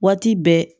Waati bɛɛ